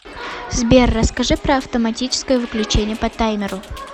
сбер расскажи про автоматическое выключение по таймеру